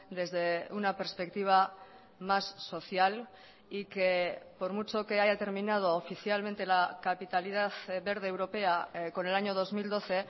desde una perspectiva más social y que por mucho que haya terminado oficialmente la capitalidad verde europea con el año dos mil doce